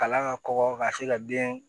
Kalan ka kɔkɔ ka se ka den